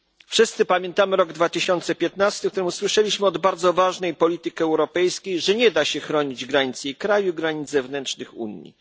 Wszyscy pamiętamy rok 2015, w którym usłyszeliśmy od bardzo ważnej polityk europejskiej, że nie da się chronić granic jej kraju, granic zewnętrznych Unii.